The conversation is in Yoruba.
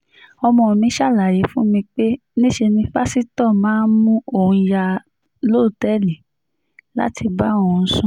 ọmọ mi ṣàlàyé fún mi pé níṣe ni pásítọ̀ máa mú òun yá lọ́tẹ̀ẹ̀lì láti bá òun sùn